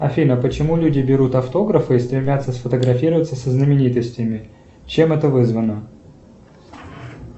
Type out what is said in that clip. афина почему люди берут автографы и стремятся сфотографироваться со знаменитостями чем это вызвано